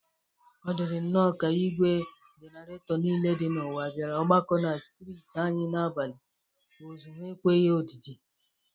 Ọ dịrị nnọ ka igwe jeneretọ niile dị n'ụwa bịara ọgbakọ na strịtị anyị n'abalị. Ụzụ ha ekweghi odịdị.